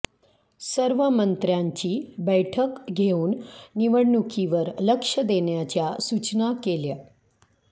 सर्व मंत्र्यांची बैठक घेऊन निवडणुकीवर लक्ष देण्याच्या सूचना केल्या